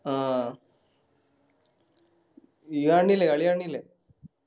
ആഹ് ഇയ്യ്‌ കാണില്ലേ കളി കാണിണില്ലേ